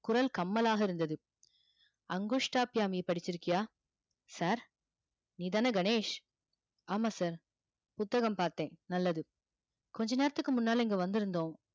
குரல் கம்மலாக இருந்தது படிச்சிருக்கியா sir நீதானே கணேஷ் ஆமா sir புத்தகம் பார்த்தேன் நல்லது கொஞ்ச நேரத்துக்கு முன்னால இங்க வந்திருந்தோம்